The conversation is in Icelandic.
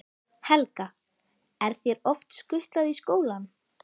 Helga: Er þér oft skutlað í skólann?